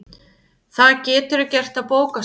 Það geturðu gert á bókasafninu